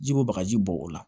Ji ko bagaji bɔ o la